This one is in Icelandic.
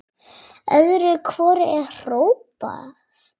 Öðru hvoru er hrópað.